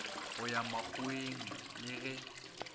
go ya makgoweng le ge